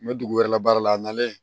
N bɛ dugu wɛrɛ la baara la a nalen